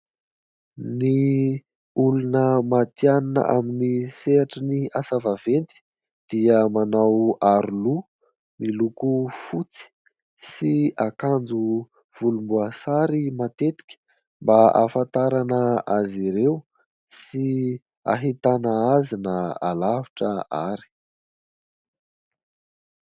Ny olona matihanina amin'ny sehatry ny asa vaventy dia manao aroloha miloko fotsy sy akanjo volomboasary matetika, mba ahafantarana azy ireo sy hahitana azy na alavitra ary.